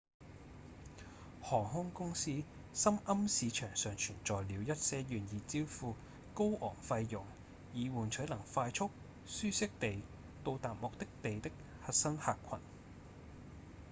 航空公司深諳市場上存在了一些願意支付高昂費用以換取能快速舒適地到達目的地的核心客群